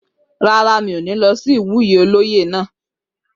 Rárá, mi ó ní lọ sí ìwúyè olóyè náà